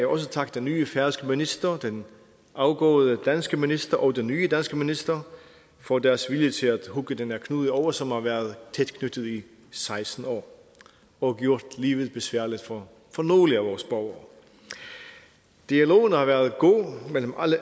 også takke den nye færøske minister den afgåede danske minister og den nye danske minister for deres vilje til at hugge den her knude over som har været tæt knyttet i seksten år og gjort livet besværligt for nogle af vores borgere dialogen har været god mellem